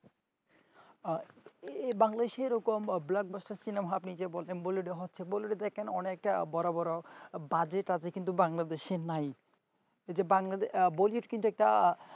এ বাংলাদেশে এরকম blockbuster cinema আপনি যে বললেন বললেন হচ্ছে বললেন না কেন অনেকে বড় বড় budget বাংলাদেশ নাই এই যে বাংলা বহিষ কিনতে কা